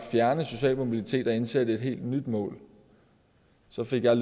fjerne social mobilitet og indsætte et helt nyt mål så fik jeg